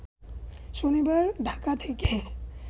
শনিবার ঢাকা থেকে